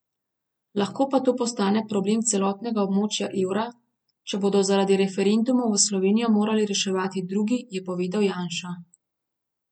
Lahko pa to postane problem celotnega območja evra, če bodo zaradi referendumov Slovenijo morali reševati drugi, je povedal Janša.